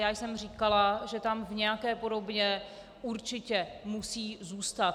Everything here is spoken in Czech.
Já jsem říkala, že tam v nějaké podobě určitě musí zůstat.